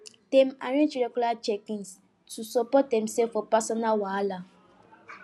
dem arrange regular checkins to support themself for personal wahala